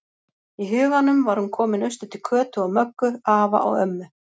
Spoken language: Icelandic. Í huganum var hún komin austur til Kötu og Möggu, afa og ömmu.